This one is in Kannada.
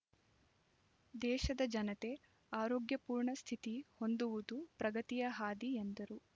ದೇಶದ ಜನತೆ ಆರೋಗ್ಯಪೂರ್ಣ ಸ್ಥಿತಿ ಹೊಂದುವುದು ಪ್ರಗತಿಯ ಹಾದಿ ಎಂದರು